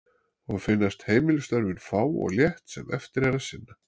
Og finnast heimilisstörfin fá og létt sem eftir er að sinna.